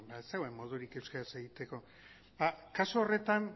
beno ez zegoen modurik euskeraz egiteko ba kasu horretan